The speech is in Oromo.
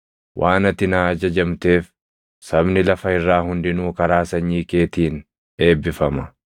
Waan ati naa ajajamteef sabni lafa irraa hundinuu karaa sanyii keetiin eebbifama.”